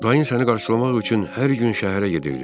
Dayın səni qarşılamaq üçün hər gün şəhərə gedirdi.